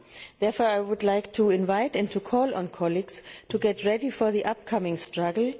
Therefore, I would like to invite and to call on colleagues to get ready for the upcoming struggle.